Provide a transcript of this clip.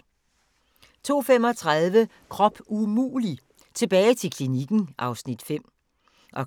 02:35: Krop umulig – tilbage til klinikken (Afs. 5) 03:30: